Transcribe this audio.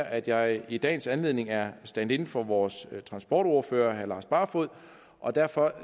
at jeg i dagens anledning er stand in for vores transportordfører herre lars barfoed og derfor